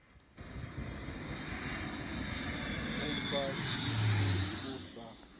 u mba tshithu u sa